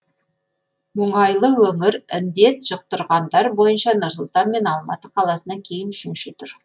мұнайлы өңір індет жұқтырғандар бойынша нұр сұлтан мен алматы қаласынан кейін үшінші тұр